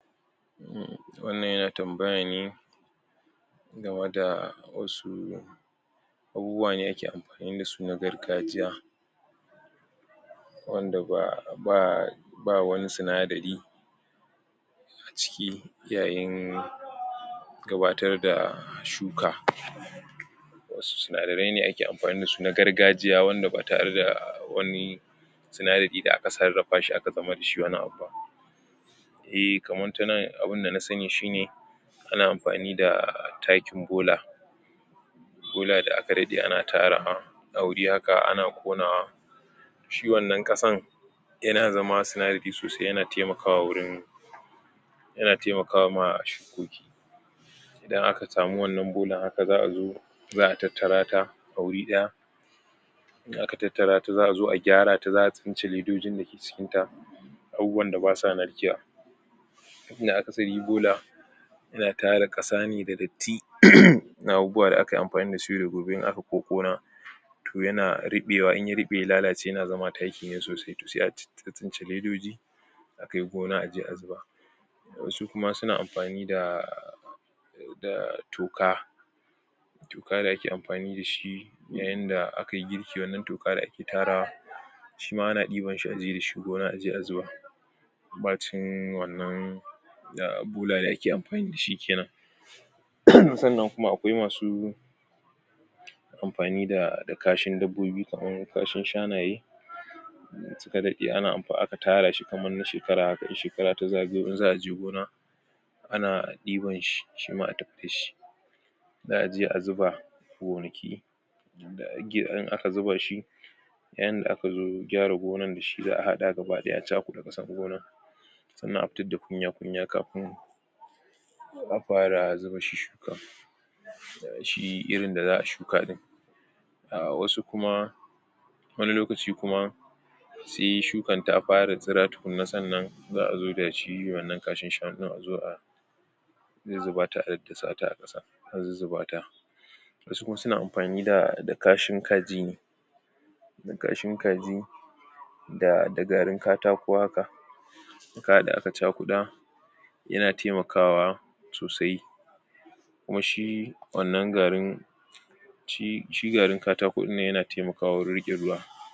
Wannan ya na tambaya ne ga watta wassu abubuwa ne ya ke amfani da su na gargajiya wanda ba, ba ba wanni tsina dari acikin iyaƴen gabbatar da shuka wassu su na ne a ke amfani da su a gargajiya wanda ba tare da wanni unadari da a ka sa a ka zamar da shi wanni abu eh kaman ta nan abun da na tsani shi ne a na amfani da takkin bola bola da aka ɗadde a na tarra a wuri hakka, ana konawa shi wannan kasan ya na zamman tsinadari sosai, ya na taimakawa wurin ya na taimakawa ma shuƙoƙi idan a ka samu wannan bolan hakka zaa zo, zaa tattara taa wuri daya in aka tattara ta, za’a gyara ta za’a tsincile dotin da ke cikin ta abubuwa da ba sa nakiya in da hakka, sai yayi bola ya na tarra kasa ne da datti na abubuwa da aka amfani da shi da gurbi in aka ƙoƙona toh ya na ruɓewa, in ya ruɓe ya lallace ya na zamma takki ne sosai, toh sai a tsincile ledoji a kayi gona a je a zuba wassu kuma su na amfani da da toka toka da ake amfani dashi na yan da a ka yi girki wanni toka da ake tarrawa shi ma a na diban shi a je dashi gona a je a zuba baccin wannan da bola da ake amfani dashi kenan tsannan kuma akwai masu amfani da kashin dabobbi kaman kashin shanaye in su ka dadde in ana aka tarra shi kaman na shekara hakka, in shekara ta zagayo in za’a je gona ana diɓan shi, shi ma a tapke shi zaa je a zuba, gonaki in aka zuba shi ƴan da aka zo gyara gonan dashi zaa hadda gabadaya a cakura kasa gona tsannan a fitar da kunya-kunya kafun a fara zuba shushuka shi irin da zaa shuka din a wassu kuma wani lokaci kuma sai shukan ta fara tsira tukuna, tsannan zaa zo dashi wannan kashin shanu, a zo a a zuzzubata a sa ta a kassa, a zuzzubata wassu kuma su na amfani da da kashin kaji da kashin kaji da da garin katako hakka kaya da aka cakuda ya na taimakawa sosai kuma shi wannan garin shi shigarin katako din nan ya na taimakawa wurin rike ruwa